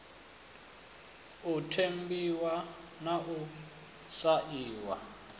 u ṱempiwa na u sainwa